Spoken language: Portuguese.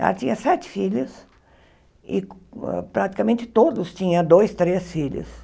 Ela tinha sete filhos, e praticamente todos tinham dois, três filhos.